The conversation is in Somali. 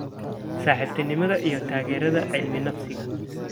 Saaxiibtinimada iyo Taageerada Cilmi-nafsiga.